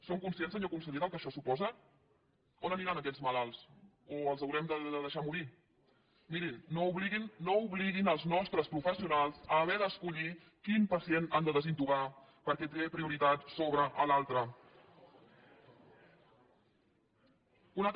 són conscients senyor conseller del que això suposa on aniran aquests malalts o els haurem de deixar morir no obliguin els nostres professionals a haver d’escollir quin pacient han de desintubar perquè té prioritat sobre l’altre